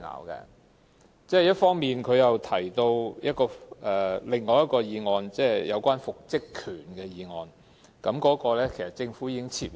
同時，議員提到另一項有關復職權的法案，但該項法案其實已被政府撤回。